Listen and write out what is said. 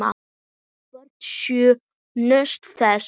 Börnin sjö nutu þess.